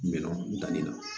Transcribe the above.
Me nɔnɔ da nin na